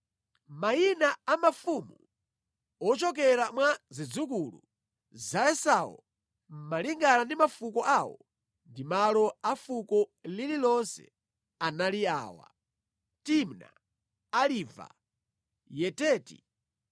Mayina a mafumu ochokera mwa zidzukulu za Esau malingana ndi mafuko awo ndi malo a fuko lililonse anali awa: Timna, Aliva, Yeteti,